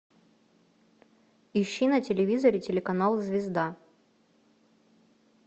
ищи на телевизоре телеканал звезда